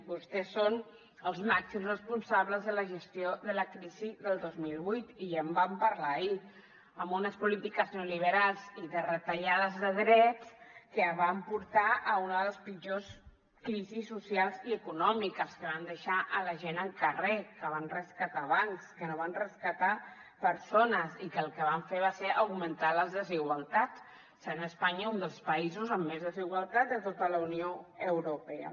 vostès són els màxims responsables de la gestió de la crisi del dos mil vuit i ja en vam parlar ahir amb unes polítiques neoliberals i de retallades de drets que van portar a una de les pitjors crisis socials i econòmiques que van deixar a la gent al carrer que van rescatar bancs que no van rescatar persones i que el que van fer va ser augmentar les desigualtats sent espanya un dels països amb més desigualtat de tota la unió europea